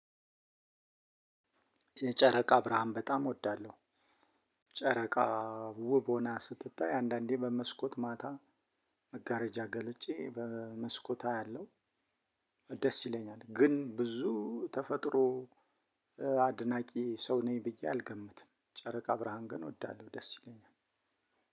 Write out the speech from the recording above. የጨረቃ ብርሃን በጣም እወዳለሁ። ጨረቃ ውብ ሆና ስትታይ አንዳንዴ በመስኮት ማታ መጋረጃ ገልጬ በመስኮት አያለሁ። ደስ ይለኛል። ግን ብዙ ተፈጥሮ አድናቂ ሰው ነኝ ብዬ አልገምትም። ጨረቃ ብርሃን ግን እወዳለሁ። ደስ ይለኛል።